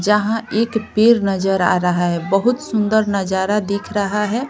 जहां एक पेर नजर आ रहा है बहुत सुंदर नजारा दिख रहा है .